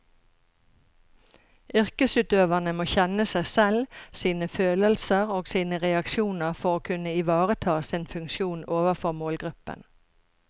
Yrkesutøverne må kjenne seg selv, sine følelser og sine reaksjoner for å kunne ivareta sin funksjon overfor målgruppen.